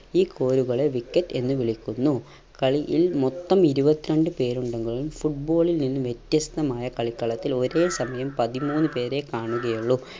ഈ കോലുകളെ wicket എന്ന് വിളിക്കുന്നു. കളിയിൽ മൊത്തം ഇരുപത്രണ്ട് പേരുണ്ടെങ്കിലും football ൽ വ്യത്യസ്തമായ കളിക്കളത്തിൽ ഒരേ സമയം പതിമൂന്ന് പേരെ കാണുകയുള്ളൂ.